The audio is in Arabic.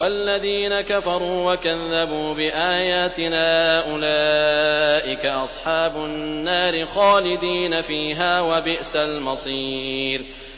وَالَّذِينَ كَفَرُوا وَكَذَّبُوا بِآيَاتِنَا أُولَٰئِكَ أَصْحَابُ النَّارِ خَالِدِينَ فِيهَا ۖ وَبِئْسَ الْمَصِيرُ